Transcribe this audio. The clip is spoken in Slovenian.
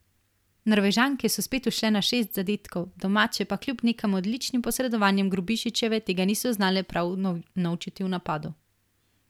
Norvežanke so spet ušle na šest zadetkov, domače pa kljub nekaj odličnim posredovanjem Grubišićeve tega niso znale prav unovčiti v napadu.